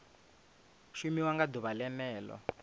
shumiwa nga ḓuvha o ḽeneo